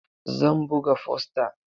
Zan buga fosta.